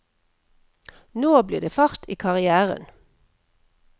Nå ble det fart i karrieren.